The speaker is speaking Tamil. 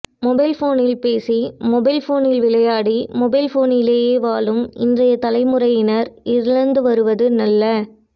மொபைல் போனில் பேசி மொபைல் போனில் விளையாடி மொபைல் போனிலேயே வாழும் இன்றைய தலைமுறையினர் இழந்துவருவது நல்ல